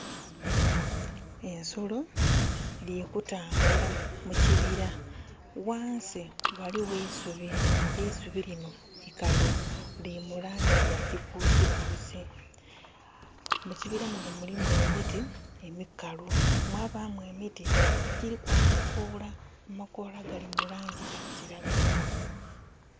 Ensolo dhili kutambula mu kibira. Ghansi ghaligho eisubi. Eisubi linho ikalu, lili mu laangi ya kikuusikuusi. Mukibira muno mulimu emiti emikalu, mwabaamu emiti egyiliku amakoola. Amakoola gali mu laangi ya kiragala.